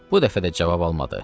Bu dəfə də cavab almadı.